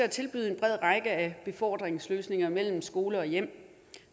at tilbyde en bred række af befordringsløsninger mellem skole og hjem